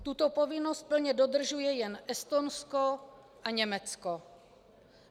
Tuto povinnost plně dodržuje jen Estonsko a Německo.